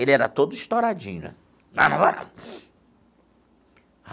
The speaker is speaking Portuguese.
Ele era todo estouradinho né. Não, não vou não.